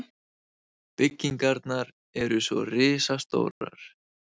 Byggingarnar eru svo risastórar.